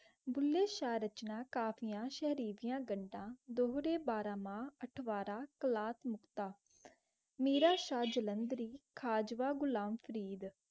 दिली शरचना काफियां शर्फियाँ घंधे बारह माह अथवारा तलाक नुक्ता मेराज शाह जालंधरी खवजह घुलम फरीद.